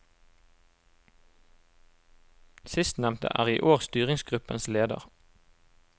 Sistnevnte er i år styringsgruppens leder.